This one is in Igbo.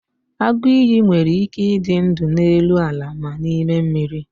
agụ iyi nwere ike ịdị ndụ n'elu ala na n'ime mmiri